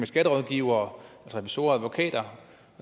skatterådgivere revisorer og advokater